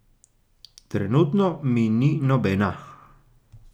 Trenutno, mi ni nobena.